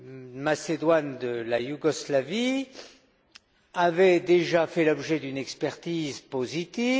de Macédoine avait déjà fait l'objet d'une expertise positive